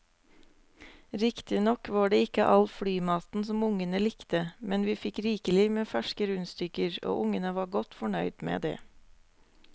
Riktignok var det ikke all flymaten som ungene likte, men vi fikk rikelig med ferske rundstykker og ungene var godt fornøyd med det.